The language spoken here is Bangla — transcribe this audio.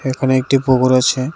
এখানে একটি পুকুর আছে .